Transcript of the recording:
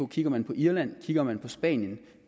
kigger man på irland kigger man på spanien